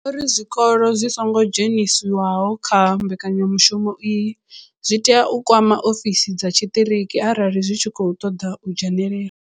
Vho ri zwikolo zwi songo dzheniswaho kha mbekanyamushumo iyi zwi tea u kwama ofisi dza tshiṱiriki arali zwi tshi khou ṱoḓa u dzhenelela.